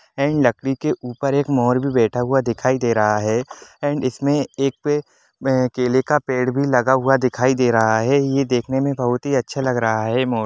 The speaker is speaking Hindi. एंड लकड़ी के ऊपर एक मोर भी बैठा हुआ दिखाई दे रहा है एंड इसमें एक पे केले का पेड़ भी लगा हुआ दिखाई दे रहा है ये देखने में बहुत ही है अच्छा लग रहा है मोर।